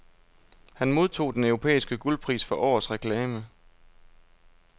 Han modtog den europæiske guldpris for årets reklame.